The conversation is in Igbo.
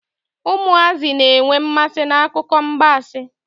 Ụmụazị na-enwe mmasi n'akụkọ agbansi.